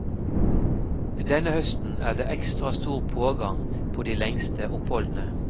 Denne høsten er det ekstra stor pågang på de lengste oppholdene.